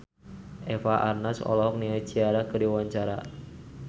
Eva Arnaz olohok ningali Ciara keur diwawancara